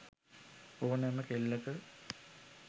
ඕනෑම කෙල්ලක